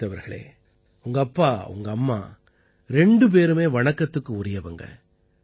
அபிஜீத் அவர்களே உங்க அப்பா உங்க அம்மா ரெண்டு பேருமே வணக்கத்துக்கு உரியவங்க